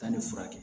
Taa nin furakɛ